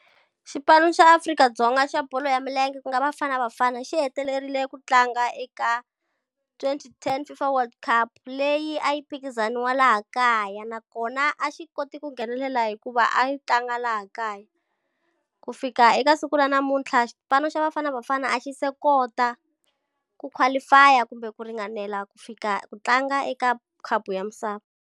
Xipano xa Afrika-Dzonga xa bolo ya milenge ku nga Bafana Bafana xi hetelerile ku tlanga eka twenty ten FIFA world cup, leyi a yi phikizaniwa laha kaya. Nakona a xi kote ku nghenelela hikuva a yi tlanga laha kaya. Ku fika eka siku ra namuntlha xipano xa Bafana Bafana a xi se kota ku qualify-a kumbe ku ringanela ku fika ku tlanga eka khapu ya misava.